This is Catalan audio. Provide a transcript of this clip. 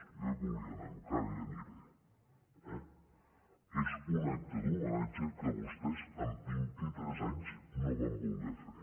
jo hi volia anar encara hi aniré eh és un acte d’homenatge que vostès en vint i tres anys no van voler fer